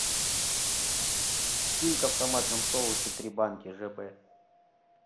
килька в томатном соусе три банки ж б